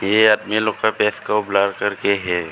ये आदमी लोग का फेस को ब्लर कर के है।